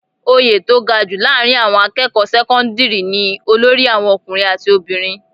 Oyè tó ga jù láàárín àwọn akẹ́kọ̀ọ́ sẹ́kọ́ńdírì ni olórí àwọn ọkùnrin àti obìnrin.